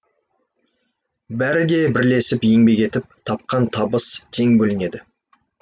бәрі де бірлесіп еңбек етіп тапқан табыс тең бөлінеді